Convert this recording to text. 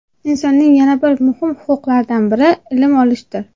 Insonning yana bir muhim huquqlaridan biri ilm olishdir.